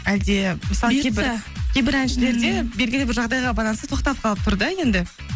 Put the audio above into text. әлде мысалы кейбір әншілерде белгілі бір жағдайға байланысты тоқтап қалып тұр да енді